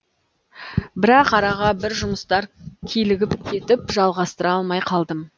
бірақ араға бір жұмыстар килігіп кетіп жалғастыра алмай қалдым